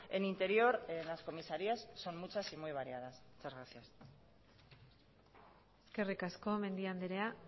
en interior en las comisarías son muchas y muy variadas muchas gracias eskerrik asko mendia andrea